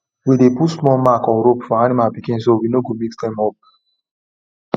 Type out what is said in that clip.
we dey put small mark or rope for animal pikin so we no go mix dem up